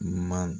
Ɲuman